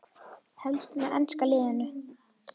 Helst með enska liðinu.